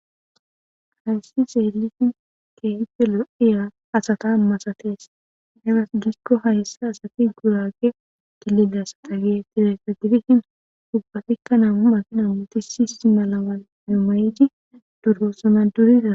Hayssi seelisin keenfelo'iya asata masatees hefas gikko hayssi asati kuraage gillidasa dagee tireka gidihin hubpatikka namu makina wuti siisi malawan amayiji duroosana duriza.